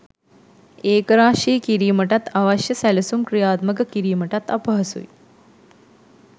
ඒකරාශි කිරීමටත් අවශ්‍ය සැලසුම් ක්‍රියාත්මක කිරීමටත් අපහසුයි.